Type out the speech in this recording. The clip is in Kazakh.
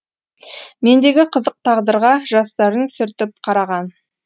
мендегі қызық тағдырға жастарын сүртіп қараған